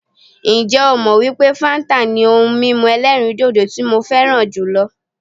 Ǹjẹ́ ó mọ wípé fáńtà ni ohun mímu ẹ̀lẹ́rìndodò tí mo fẹràn jùlọ?